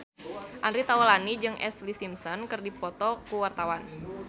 Andre Taulany jeung Ashlee Simpson keur dipoto ku wartawan